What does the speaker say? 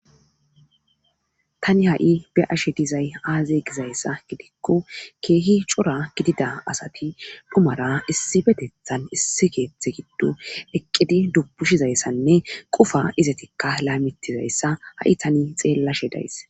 Tani ha7i be ashe dizay aaze gizayssa gidikko keehi cora gidida asati dhumara issi betethan issi geeththe giddu eqqidi dubushizayssanne qufa izatikka laymitizayssa ha7i tani xeellashe days.